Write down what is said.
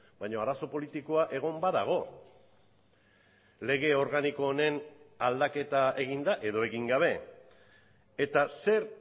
baina arazo politikoa egon badago lege organiko honen aldaketa eginda edo egin gabe eta zer